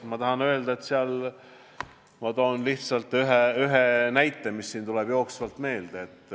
Ma toon lihtsalt ühe näite, mis tuleb jooksvalt meelde.